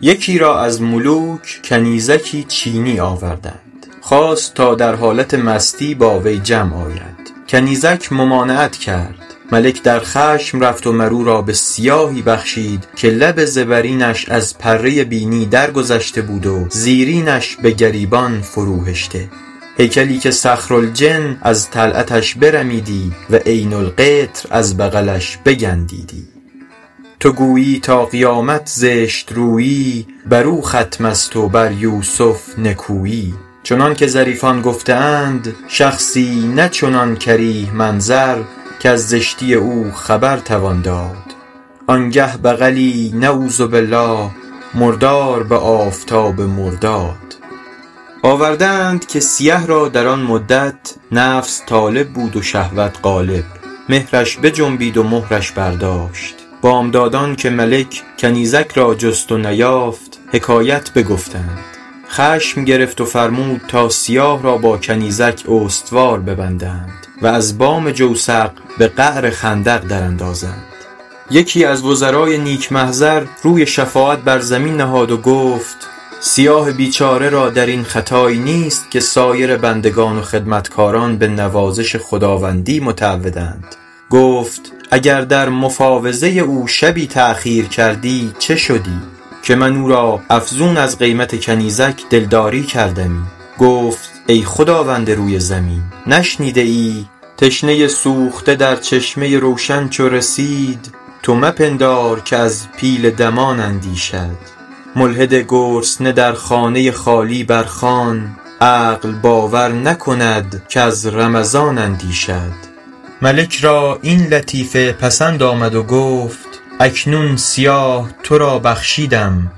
یکی را از ملوک کنیزکی چینی آوردند خواست تا در حالت مستی با وی جمع آید کنیزک ممانعت کرد ملک در خشم رفت و مر او را به سیاهی بخشید که لب زبرینش از پره بینی درگذشته بود و زیرینش به گریبان فرو هشته هیکلی که صخرالجن از طلعتش برمیدی و عین القطر از بغلش بگندیدی تو گویی تا قیامت زشت رویی بر او ختم است و بر یوسف نکویی چنان که ظریفان گفته اند شخصی نه چنان کریه منظر کز زشتی او خبر توان داد آن گه بغلی نعوذ باللٰه مردار به آفتاب مرداد آورده اند که سیه را در آن مدت نفس طالب بود و شهوت غالب مهرش بجنبید و مهرش برداشت بامدادان که ملک کنیزک را جست و نیافت حکایت بگفتند خشم گرفت و فرمود تا سیاه را با کنیزک استوار ببندند و از بام جوسق به قعر خندق در اندازند یکی از وزرای نیک محضر روی شفاعت بر زمین نهاد و گفت سیاه بیچاره را در این خطایی نیست که سایر بندگان و خدمتکاران به نوازش خداوندی متعودند گفت اگر در مفاوضه او شبی تأخیر کردی چه شدی که من او را افزون از قیمت کنیزک دلداری کردمی گفت ای خداوند روی زمین نشنیده ای تشنه سوخته در چشمه روشن چو رسید تو مپندار که از پیل دمان اندیشد ملحد گرسنه در خانه خالی بر خوان عقل باور نکند کز رمضان اندیشد ملک را این لطیفه پسند آمد و گفت اکنون سیاه تو را بخشیدم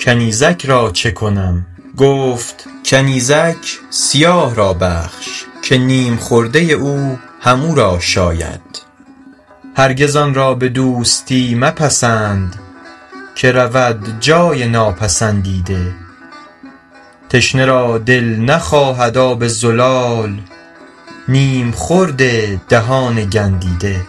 کنیزک را چه کنم گفت کنیزک سیاه را بخش که نیم خورده او هم او را شاید هرگز آن را به دوستی مپسند که رود جای ناپسندیده تشنه را دل نخواهد آب زلال نیم خورد دهان گندیده